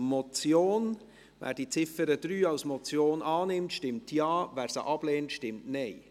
Wer die Ziffer 3 als Motion annimmt, stimmt Ja, wer sie ablehnt, stimmt Nein.